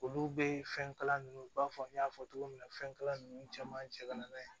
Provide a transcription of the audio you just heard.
Olu bɛ fɛn kala nunnu u b'a fɔ n y'a fɔ cogo min na fɛnkala ninnu caman cɛ ka na n'a ye